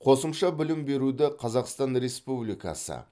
қосымша білім беруді қазақстан республикасы